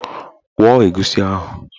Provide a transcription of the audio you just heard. Kwọọ egusi ahụ!